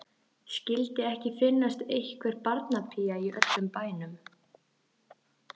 Skyldi ekki finnast einhver barnapía í öllum bænum.